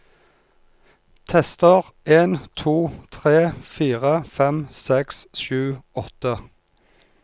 Tester en to tre fire fem seks sju åtte